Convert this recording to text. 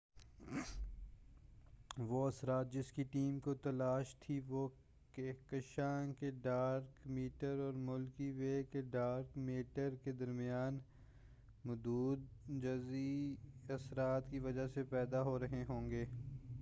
وہ اثرات جس کی ٹیم کو تلاش تھی وہ کہکشاں کے ڈارک میٹر اور ملکی وے کے ڈارک میٹر کے درمیان مدو جزری اثرات کی وجہ سے پیدا ہو رہے ہوں گے